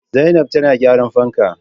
Zainab tana gyran fanka